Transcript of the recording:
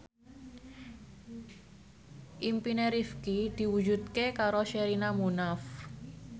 impine Rifqi diwujudke karo Sherina Munaf